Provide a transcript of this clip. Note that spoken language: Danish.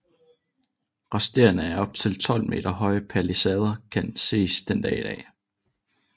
Resterne af op til 12 meter høje palisader kan ses den dag i dag